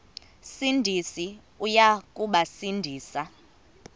sindisi uya kubasindisa